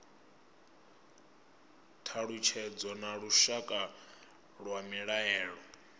thalutshedzo na lushaka lwa mbilaelo